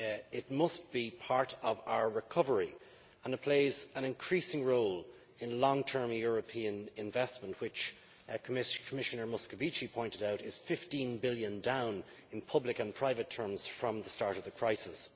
It must be part of our recovery and it plays an increasing role in long term European investment which, as Commissioner Moscovici pointed out, is EUR 15 billion down in public and private terms from the start of the crisis.